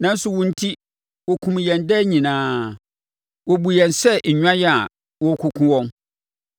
Nanso, wo enti, wɔkum yɛn daa nyinaa; wɔbu yɛn sɛ nnwan a wɔrekɔkum wɔn.